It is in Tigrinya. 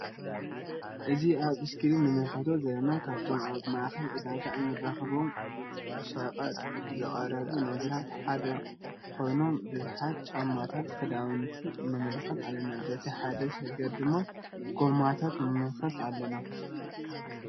እዚ አብ እስክሪን እንምልከቶ ዘለና ካብቶም አብ ማእከል ዕዳጋ እንረክቦም ነቀጥ ዝቀረቡ ነገራት ሓደ ኮይኖም ቡዝሓት ጫማታት ክዳውንቲ ንምልከት አለና::በቲ ሓደ ስገር ድማ ጎማታት ንምልከት አለና::